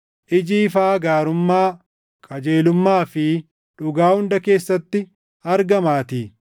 iji ifaa gaarummaa, qajeelummaa fi dhugaa hunda keessatti argamaatii;